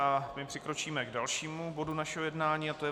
A my přikročíme k dalšímu bodu našeho jednání a to je